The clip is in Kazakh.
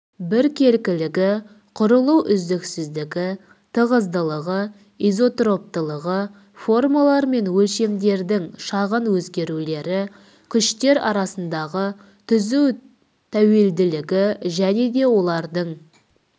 біркелкілігі құрылу үздіксіздігі тығыздылығы изотроптылығы формалар мен өлшемдердің шағын өзгерулері күштер арасындағы түзу тәуелділігі және де олардың